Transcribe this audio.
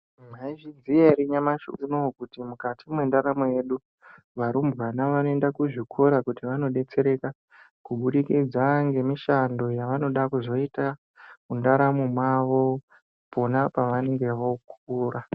Mwaizviziya ere nyamashi unowu kuti mukati mwendaramo yedu varumbwana vanoenda kuzvikora kuti vandodetsereka kubudikidza ngemishando yavanoda kuzoita mundaramo mwavo pona pavanenge vokura.